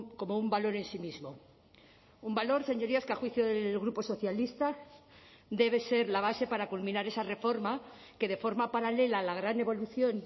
como un valor en sí mismo un valor señorías que a juicio del grupo socialista debe ser la base para culminar esa reforma que de forma paralela a la gran evolución